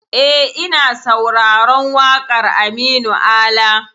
E, ina sauraron waƙar Aminu Ala.